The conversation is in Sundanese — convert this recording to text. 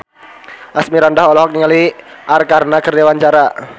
Asmirandah olohok ningali Arkarna keur diwawancara